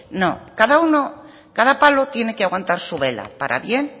no cada palo tiene que aguantar su vela para bien